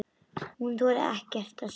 Hún þorir ekkert að segja.